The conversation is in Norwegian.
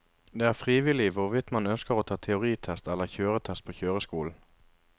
Det er frivillig hvorvidt man ønsker å ta teoritest eller kjøretest på kjøreskolen.